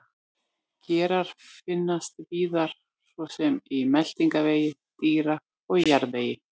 Gerar finnast víðar svo sem í meltingarvegi dýra og í jarðvegi.